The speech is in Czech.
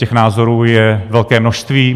Těch názorů je velké množství.